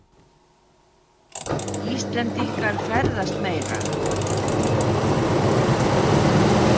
Íslendingar ferðast meira